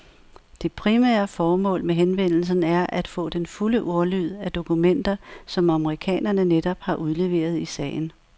Det primære formål med henvendelsen er at få den fulde ordlyd af dokumenter, som amerikanerne netop har udleveret i sagen.